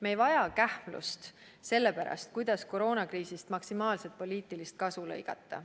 Me ei vaja kähmlust selle pärast, et koroonakriisist maksimaalselt poliitilist kasu lõigata.